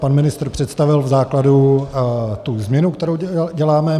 Pan ministr představil v základu tu změnu, kterou děláme.